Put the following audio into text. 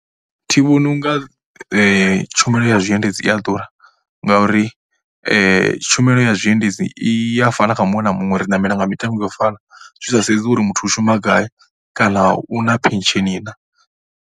Thi vhoni u nga tshumelo ya zwiendedzi i a ḓura ngauri tshumelo ya zwiendedzi i a fana kha muṅwe na muṅwe ri ṋamela nga mitengo ya u fana zwi sa sedzwi uri muthu u shuma gai kana u na phesheni na.